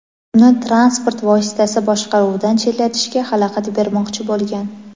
uni transport vositasi boshqaruvidan chetlatishga xalaqit bermoqchi bo‘lgan.